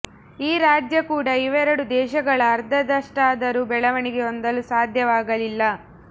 ಈ ರಾಜ್ಯ ಕೂಡ ಇವೆರಡು ದೇಶಗಳ ಅರ್ಧದಷ್ಟಾದರೂ ಬೆಳವಣಿಗೆ ಹೊಂದಲು ಸಾಧ್ಯವಾಗಲಿಲ್ಲ